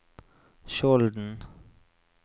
Skjolden